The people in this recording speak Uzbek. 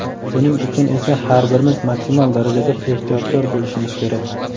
buning uchun esa har birimiz maksimal darajada ehtiyotkor bo‘lishimiz kerak.